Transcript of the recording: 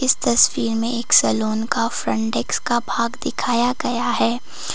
तस्वीर में एक सलोन का फ्रंट डेस्क का भाग दिखाया गया है।